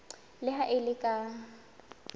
le ha e le ka